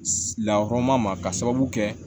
Lakɔrɔn ma ka sababu kɛ